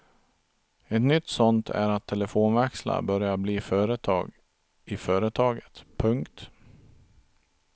Ett nytt sådant är att telefonväxlar börjat bli företag i företaget. punkt